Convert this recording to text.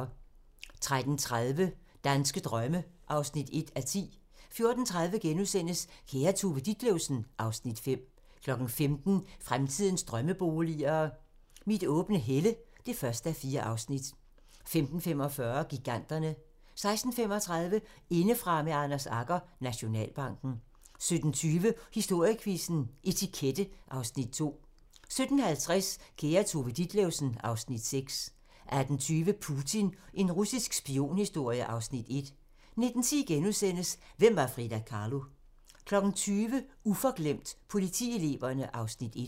13:30: Danske drømme (1:10) 14:30: Kære Tove Ditlevsen (Afs. 5)* 15:00: Fremtidens drømmeboliger: Mit åbne helle (1:4) 15:45: Giganterne 16:35: Indefra med Anders Agger - Nationalbanken 17:20: Historiequizzen: Etikette (Afs. 2) 17:50: Kære Tove Ditlevsen (Afs. 6) 18:20: Putin - en russisk spionhistorie (Afs. 1) 19:10: Hvem var Frida Kahlo? * 20:00: Uforglemt: Politieleverne (Afs. 1)